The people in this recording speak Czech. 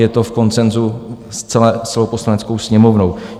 Je to v konsenzu s celou Poslaneckou sněmovnou.